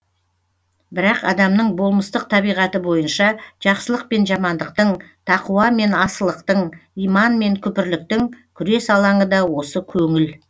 бірақ адамның болмыстық табиғаты бойынша жақсылық пен жамандықтың тақуа мен асылықтың иман мен күпірліктің күрес алаңы да осы көңіл